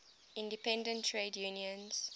independent trade unions